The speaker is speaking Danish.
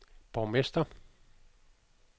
borgmester